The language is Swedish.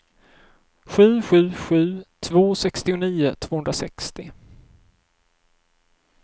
sju sju sju två sextionio tvåhundrasextio